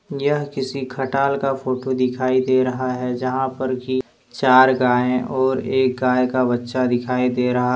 यह किसी खटाल का फोटो दिखाई दे रहा है जहां पर कि चार गाय और एक गाय का बच्चा दिखाई दे रहा--